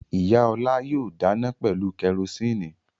Ìyá Ọlá yóò dáná pẹ̀lú kẹrósíínì.